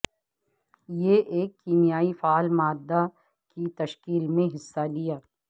یہ ایک کیمیائی فعال مادہ کی تشکیل میں حصہ لیا